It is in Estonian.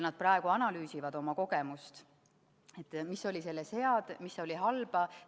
Nad praegu analüüsivad oma kogemust, mis oli selles head, mis halba.